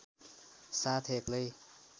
साथ एक्लै